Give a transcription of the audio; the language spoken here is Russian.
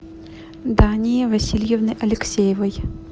дании васильевны алексеевой